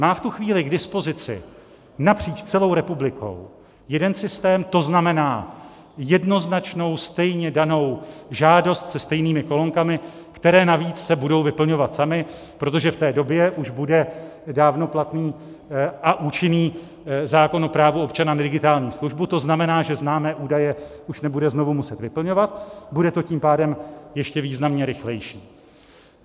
Má v tu chvíli k dispozici napříč celou republikou jeden systém, to znamená jednoznačnou, stejně danou žádost se stejnými kolonkami, které navíc se budou vyplňovat samy, protože v té době už bude dávno platný a účinný zákon o právu občana na digitální službu, to znamená, že známé údaje už nebude znovu muset vyplňovat, bude to tím pádem ještě významně rychlejší.